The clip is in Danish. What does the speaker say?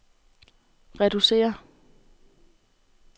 reducere